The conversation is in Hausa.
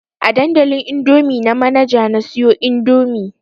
A dandalin indomie na Manaja na siyo indomie